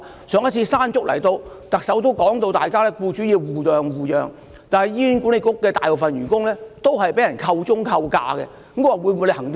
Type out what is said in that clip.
上次颱風"山竹"來襲，特首已說到僱主應互諒互讓，但醫管局大部分員工均被扣鐘、扣假。